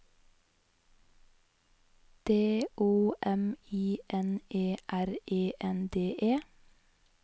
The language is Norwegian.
D O M I N E R E N D E